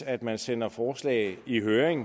at man sender forslag i høring